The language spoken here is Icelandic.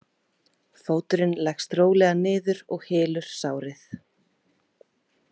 Fóturinn leggst rólega niður og hylur sárið.